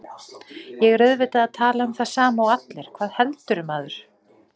Ég er auðvitað að tala um það sama og allir, hvað heldurðu, maður?